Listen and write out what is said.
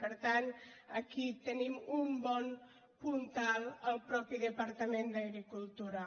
per tant aquí tenim un bon puntal al mateix departament d’agricultura